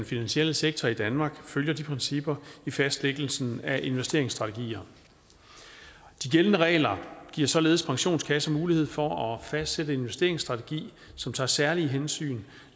finansielle sektor i danmark følger de principper i fastlæggelsen af investeringsstrategier de gældende regler giver således pensionskasserne mulighed for at fastsætte en investeringsstrategi som tager særlige hensyn